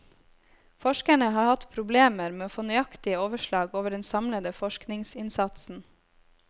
Forskerne har hatt problemer med å få nøyaktige overslag over den samlede forskningsinnsatsen.